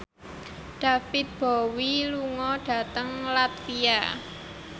David Bowie lunga dhateng latvia